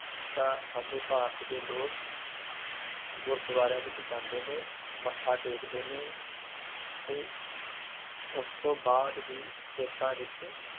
ਚਾਅ ਸਾਡੇ ਭਾਰਤ ਦੇ ਲੋਕ ਗੁਰੂਦੁਆਰਿਆ ਵਿਚ ਜਾਣਦੇ ਨੇ ਮੱਥਾ ਟੇਕ ਦੇ ਨੇ ਅਤੇ ਉਸ ਤੋਂ ਬਆਦ ਹੀ ਖੇਤਾਂ ਵਿ